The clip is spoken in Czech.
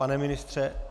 Pane ministře?